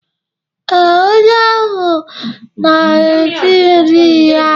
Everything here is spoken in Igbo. ee, onye ahụ na-eri nri ya.